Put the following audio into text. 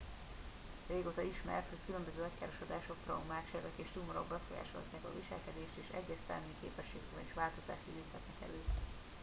régóta ismert hogy különböző agykárosodások traumák sebek és tumorok befolyásolhatják a viselkedést és egyes szellemi képességekben is változást idézhetnek elő